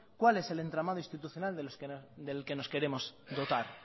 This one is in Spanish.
cuál es el entramado institucional del que nos queremos dotar